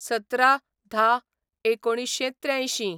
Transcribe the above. १७/१०/१९८३